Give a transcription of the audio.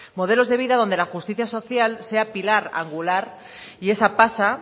modelos de vida donde la justicia social sea pilar angular y esa pasa